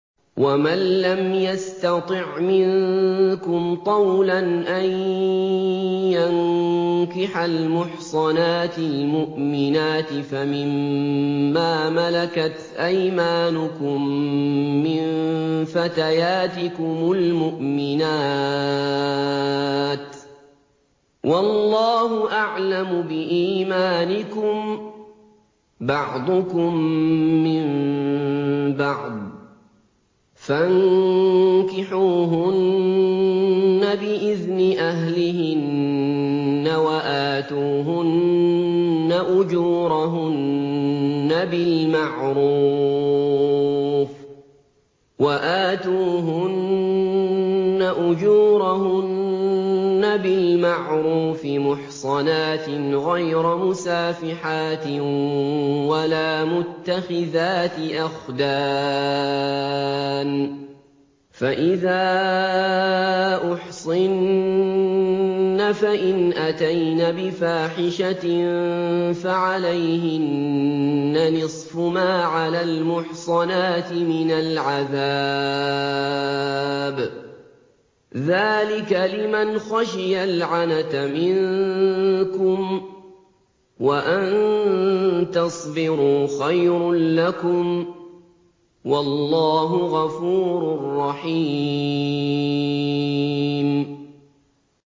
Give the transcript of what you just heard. وَمَن لَّمْ يَسْتَطِعْ مِنكُمْ طَوْلًا أَن يَنكِحَ الْمُحْصَنَاتِ الْمُؤْمِنَاتِ فَمِن مَّا مَلَكَتْ أَيْمَانُكُم مِّن فَتَيَاتِكُمُ الْمُؤْمِنَاتِ ۚ وَاللَّهُ أَعْلَمُ بِإِيمَانِكُم ۚ بَعْضُكُم مِّن بَعْضٍ ۚ فَانكِحُوهُنَّ بِإِذْنِ أَهْلِهِنَّ وَآتُوهُنَّ أُجُورَهُنَّ بِالْمَعْرُوفِ مُحْصَنَاتٍ غَيْرَ مُسَافِحَاتٍ وَلَا مُتَّخِذَاتِ أَخْدَانٍ ۚ فَإِذَا أُحْصِنَّ فَإِنْ أَتَيْنَ بِفَاحِشَةٍ فَعَلَيْهِنَّ نِصْفُ مَا عَلَى الْمُحْصَنَاتِ مِنَ الْعَذَابِ ۚ ذَٰلِكَ لِمَنْ خَشِيَ الْعَنَتَ مِنكُمْ ۚ وَأَن تَصْبِرُوا خَيْرٌ لَّكُمْ ۗ وَاللَّهُ غَفُورٌ رَّحِيمٌ